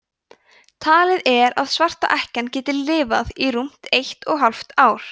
talið er að svarta ekkjan geti lifað í rúmt eitt og hálft ár